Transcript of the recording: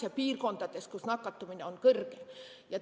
Välitingimustes tõenäoliselt ei ole tarvis.